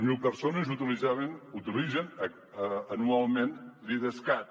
zero persones utilitzen anualment l’idescat